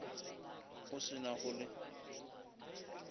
go se na go le